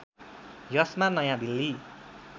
यसमा नयाँ दिल्ली